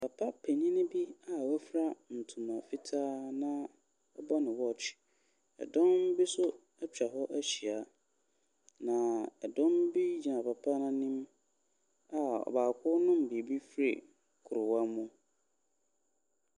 Papa panin bi wafura ntoma fitaa na ɔbɔ ne watch. Dɔm bi so atwa hɔ ahyia. Na dɔm bi gyina papa n’anim a ɔbaako renom biribi firi kuruwa bi mu.